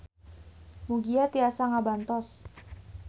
Mugia tiasa ngabantos.